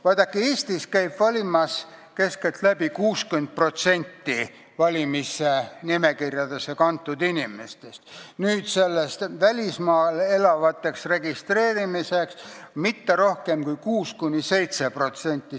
Vaadake, Eestis käib valimas keskeltläbi 60% valimisnimekirjadesse kantud inimestest, nende hulgast, kes on ennast registreerinud välismaal elavatena, aga mitte rohkem kui 6–7%.